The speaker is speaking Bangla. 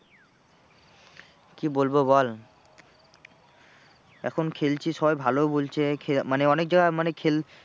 কি বলবো বল এখন খেলছি সবাই ভালোও বলছে খে মানে অনেক জায়গায় মানে খেল